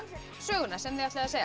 söguna sem þið ætlið að segja